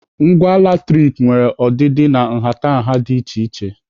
Ngwa latrik nwere ọdịdị na nhatanha dị iche iche.